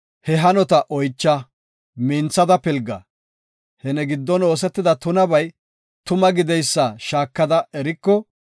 he hanota oycha; minthada pilga. He ne giddon oosetida tunabay tuma gideysa shaakada eriko,